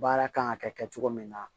Baara kan ka kɛ kɛ cogo min na